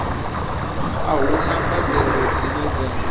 a huna mbadelo dzine dza